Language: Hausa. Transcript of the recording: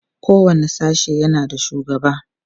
kowani sashe yana da shugaba